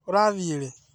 Ũrathi rĩ?